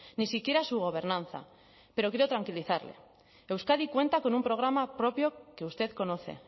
ni siquiera su gobernanza pero quiero tranquilizarle euskadi cuenta con un programa propio que usted conoce